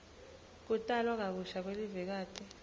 kutalwa kabusha kwelivekati